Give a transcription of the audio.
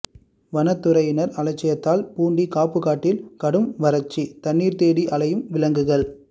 வனத்துறையின் அலட்சியத்தால் பூண்டி காப்புக்காட்டில் கடும் வறட்சி தண்ணீர் தேடி அலையும் விலங்குகள்